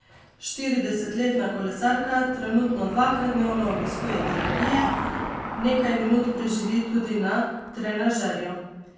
Štiriintridesetletna kolesarka trenutno dvakrat dnevno obiskuje terapije, nekaj minut preživi tudi na trenažerju.